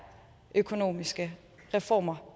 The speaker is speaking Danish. økonomiske reformer